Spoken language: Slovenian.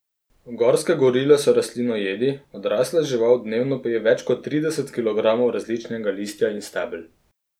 Gorske gorile so rastlinojedi, odrasla žival dnevno poje več kot trideset kilogramov različnega listja in stebel.